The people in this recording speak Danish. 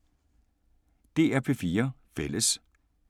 DR P4 Fælles